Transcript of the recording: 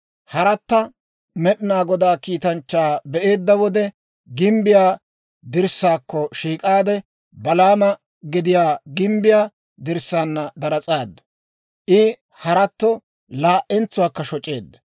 Haratta Med'inaa Godaa kiitanchchaa be'eedda wode, gimbbiyaa dirssaakko shiik'aade, Balaama gediyaa gimbbiyaa dirssaana daras'aadu; I haratto laa"entsuwaakka shoc'eedda.